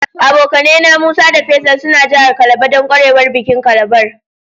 Abokane na, Musa da Faisal suna jihar Calabar dan kwarewan bikin calabar.